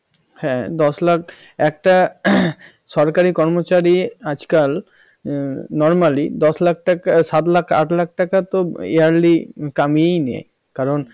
হ্যাঁ দশ লাখ একটা সরকারি কর্মচারী আজকাল normally দশ লাখ টাকা সাত আট লাখ টাকা তো yearly কামিয়ে নে কারন